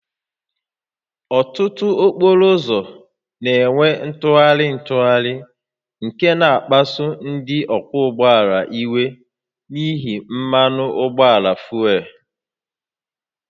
Ọtụtụ okporo ụzọ na-enwe ntụgharị ntụgharị nke na-akpasu ndị ọkwọ ụgbọala iwe n'ihi mmanụ ụgbọala fuel